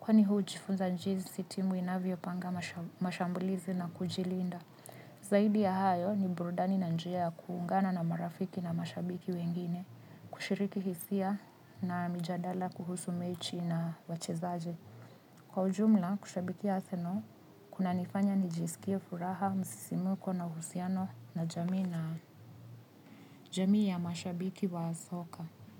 kwani hujifunza jinsi timu inavyo panga mashambulizi na kujilinda. Zaidi ya hayo ni burudani na njia ya kuungana na marafiki na mashabiki wengine, kushiriki hisia na mijadala kuhusu mechi na wachezaji. Kwa ujumla, kushabikia arsenal, kunanifanya nijisikie furaha, msisimuko na uhusiano na jamii ya mashabiki wa soka.